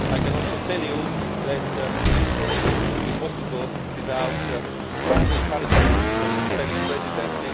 I can also tell you that this probably would not be possible without strong encouragement from the Spanish Presidency.